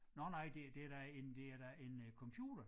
Nåh nej det det da en det er da en øh computer